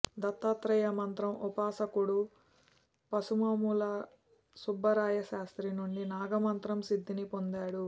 దత్తాత్రేయ మంత్రం ఉపసాకుడు పసుమముల సుబ్బరాయ శాస్త్రి నుండి నాగ మంత్రం సిద్ధిని పొందాడు